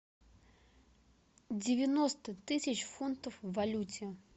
девяносто тысяч фунтов в валюте